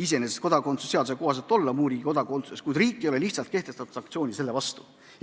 iseenesest kodakondsuse seaduse kohaselt olla muu riigi kodakondsuses, kuid riik lihtsalt ei ole selle vastu sanktsiooni kehtestanud.